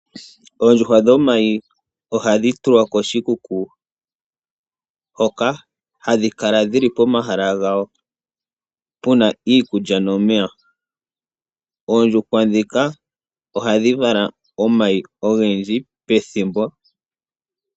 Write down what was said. Oondjuhwa dhomayi, ohadhi tulwa koshikuku hoka hadhi kala dhili pomahala gawo puna iikulya nomeya. Oondjuhwa dhika ohadhi vala omayi ogendji pethimbo.